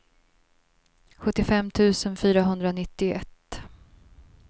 sjuttiofem tusen fyrahundranittioett